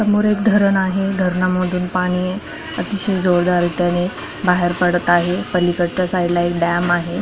समोर एक धरण आहे धरणा मधुन पाणी अतिशय जोरदार रित्याने बाहेर पडत आहे पलिकडच्या साइटला एक डॅम आहे.